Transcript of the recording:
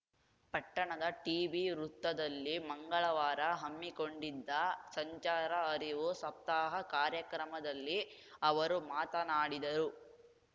ಪಟ್ಟಣದ ಟಿಬಿ ವೃತ್ತದಲ್ಲಿ ಮಂಗಳವಾರ ಹಮ್ಮಿಕೊಂಡಿದ್ದ ಸಂಚಾರ ಅರಿವು ಸಪ್ತಾಹ ಕಾರ್ಯಕ್ರಮದಲ್ಲಿ ಅವರು ಮಾತನಾಡಿದರು